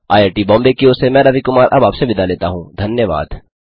IIT Bombay की ओर से मैं रवि कुमार अब आपसे विदा लेता हूँ धन्यवाद